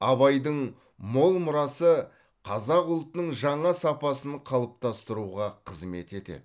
абайдың мол мұрасы қазақ ұлтының жаңа сапасын қалыптастыруға қызмет етеді